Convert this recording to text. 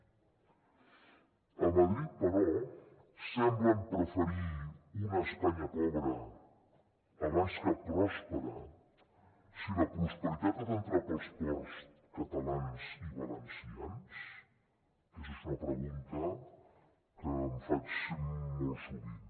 a madrid però semblen preferir una espanya pobra abans que pròspera si la prosperitat ha d’entrar pels ports catalans i valencians aquesta és una pregunta que em faig molt sovint